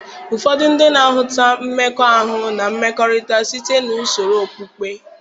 Ụfọdụ ndị na-ahụta mmekọahụ na mmekọrịta site na usoro okpukpe.